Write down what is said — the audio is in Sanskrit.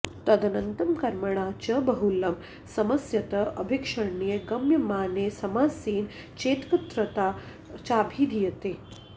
तदन्तं कर्मणा च बहुलं समस्यत आभीक्ष्ण्ये गम्यमाने समासेन चेत्कत्र्ता चाभिधीयते